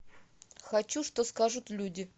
хочу что скажут люди